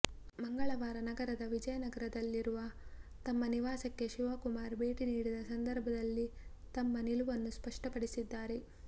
ಮಂಗಳವಾರ ನಗರದ ವಿಜಯನಗರದಲ್ಲಿರುವ ತಮ್ಮ ನಿವಾಸಕ್ಕೆ ಶಿವಕುಮಾರ್ ಭೇಟಿ ನೀಡಿದ ಸಂದರ್ಭದಲ್ಲಿ ತಮ್ಮ ನಿಲುವನ್ನು ಸ್ಪಷ್ಟಪಡಿಸಿದ್ದಾರೆ